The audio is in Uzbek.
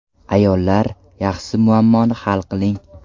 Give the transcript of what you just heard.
Ayollar, yaxshisi muammoni hal qiling.